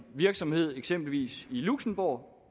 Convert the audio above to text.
virksomhed i eksempelvis luxembourg